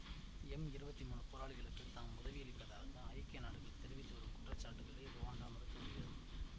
M இருவத்தி மூனு போராளிகளுக்குத் தாம் உதவியளிப்பதாக ஐக்கிய நாடுகள் தெரிவித்துவரும் குற்றச்சாட்டுகளை ருவாண்டா மறுத்து வருகிறது